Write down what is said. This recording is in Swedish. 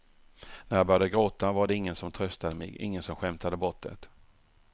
När jag började gråta var det ingen som tröstade mig, ingen som skämtade bort det.